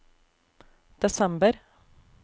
desember